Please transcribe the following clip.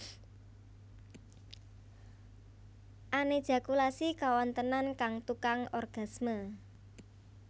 Anéjakulasi kawontenan kang Tukang orgasme